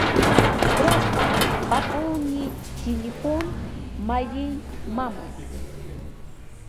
здравствуй пополни телефон моей мамы